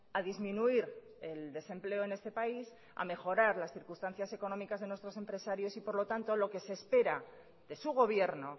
a disminuir el desempleo en este país a mejorar las circunstancias económicas de nuestros empresarios y por lo tanto lo que se espera de su gobierno